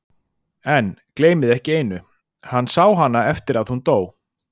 En, gleymið ekki einu: hann sá hana eftir að hún dó.